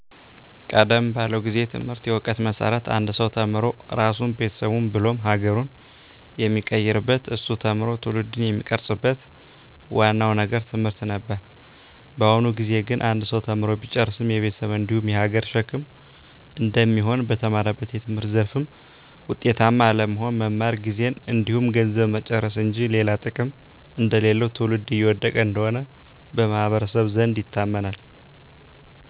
ቀደም ባለው ጊዜ ትምህርት የእውቀት መሰረት አንድ ሰው ተምሮ ራሱን ቤተሰቡን ብሎም ሀገሩን የሚቀይርበት እሱ ተምሮ ትውልድን የሚቀርፅበት ዋናው ነገር ትምህርት ነበር። በአሁኑ ጊዜ ግን አንድ ሰው ተምሮ ቢጨርስም የቤተሰብ እንዲሁም የሀገር ሸክም እንደሚሆን፣ በተማረበት የትምህርት ዘርፍ ውጤታማ አለመሆን፣ መማር ጊዜን እንዲሁም ገንዘብን መጨረስ እንጂ ሌላ ጥቅም እንደሌለው ትውልድ እየወደቀ እንደሆነ በማህበረሰቡ ዘንድ ይታመናል።